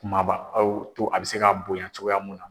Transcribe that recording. Kumaba aw to a bɛ se ka bonya cogoya mun na.